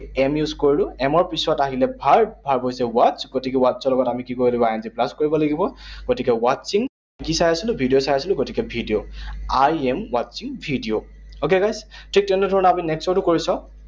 Am use কৰিলো। Am ৰ পিছত আহিলে verb, verb watch, গতিকে watch ৰ লগত আমি কি কৰিব লাগিব? I N G plus কৰিব লাগিব। গতিকে watching, কি চাই আছিলো? ভিডিঅ চাই আছিলো। গতিকে video. I am watching video, okay, guys, ঠিক তেনে ধৰণেৰে আমি next ৰটো কৰি চাওঁ।